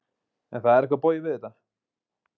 En það er eitthvað bogið við þetta.